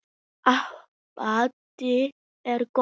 Ábati er gróði.